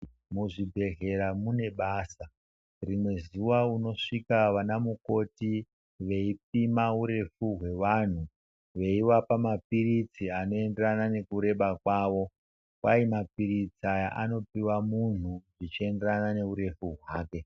Muzvibhedhleya mune basa, rimwe zuva unosvika vana mukoti veipima urefu hwevanhu veivapa mapiritsi anoenderana nekureba kwavo kwai mapiritsi aya anopiwa muntu zvichienderana neurefu hwake.